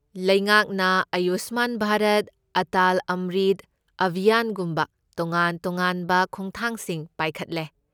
ꯂꯩꯉꯥꯛꯅ ꯑꯥꯌꯨꯁꯃꯥꯟ ꯚꯥꯔꯠ, ꯑꯇꯥꯜ ꯑꯝꯔꯤꯠ ꯑꯚꯤꯌꯥꯟꯒꯨꯝꯕ ꯇꯣꯉꯥꯟ ꯇꯣꯉꯥꯟꯕ ꯈꯣꯡꯊꯥꯡꯁꯤꯡ ꯄꯥꯏꯈꯠꯂꯦ꯫